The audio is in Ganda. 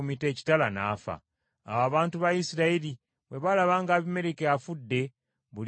Awo abantu ba Isirayiri bwe baalaba nga Abimereki afudde, buli omu n’addayo ewuwe.